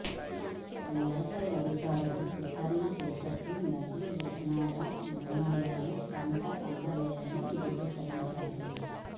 వ్యవసాయాధికారులు విచారణ చేపట్టి నకిలీ విత్తనాల మూలంగానే పంట పండలేదని ధ్రువీకరించారు